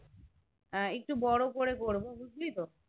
হ্যাঁ একটু বড় করে করবো বুঝলি তো